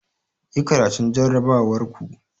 Yi karatun jarrabawar ku!